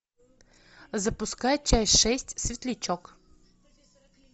запускай часть шесть светлячок